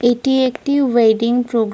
ভেতর থেকে কিছু মানুষ বেড়িয়ে আসছেন।